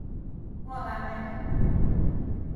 Ng'o kamet ng'ung'?